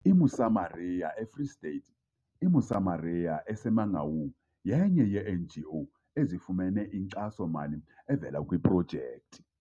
I-Mosamaria e-Free State. I-Mosamaria, eseMangaung yenye yee-NGO ezifumene inkxaso-mali evela kwiprojekthi.